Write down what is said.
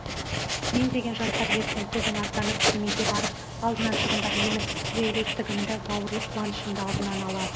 мен деген жастар ертең көбің аттанып семейге барып алдынан шығыңдар менің тілеулестігімді бауырлық қуанышымды алдынан ала